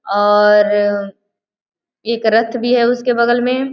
और एक रथ भी है उसके बगल में --